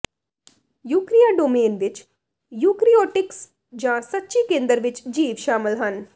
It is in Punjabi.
ਯੂਕਰੀਆ ਡੋਮੇਨ ਵਿਚ ਯੂਕੇਰਿਓਟਿਕਸ ਜਾਂ ਸੱਚੀ ਕੇਂਦਰ ਵਿਚ ਜੀਵ ਸ਼ਾਮਲ ਹਨ